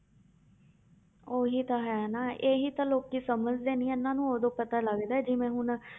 ਉਹੀ ਤਾਂ ਹੈ ਨਾ ਇਹੀ ਤਾਂ ਲੋਕੀ ਸਮਝਦੇ ਨੀ ਇਹਨਾਂ ਨੂੰ ਉਦੋਂ ਪਤਾ ਲੱਗਦਾ ਹੈ ਜਿਵੇਂ ਹੁਣ